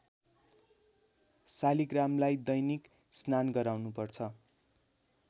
शालिग्रामलाई दैनिक स्नान गराउनु पर्छ